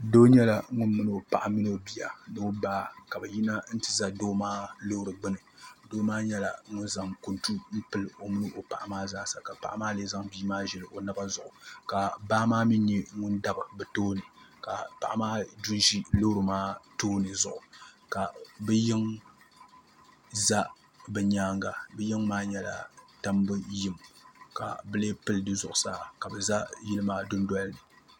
Doo nyɛla ŋuni mini o paɣa ni o bia ni o baa ka bɛ yina nti za doo maa loori gbuni doo maa nyɛla ŋuni zaŋ kuntu m-pili o mini o paɣa maa zaa sa ka paɣa maa lee zaŋ bia maa ʒili o naba zuɣu ka baa mi nyɛ ŋuni dabi bɛ tooni ka paɣa maa du n-ʒi loori maa tooni zuɣu ka bɛ yiŋa za bɛ nyaaŋa bɛ yiŋa maa nyɛla tambu yim ka bɛ lee pili di zuɣusaa ka bɛ za yili maa dundoli ni